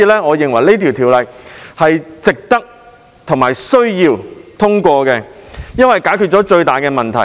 我認為這項《條例草案》是值得和需要通過的，因為它解決了最大的問題。